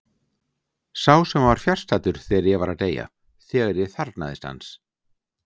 Sá sem var fjarstaddur þegar ég var að deyja, þegar ég þarfnaðist hans.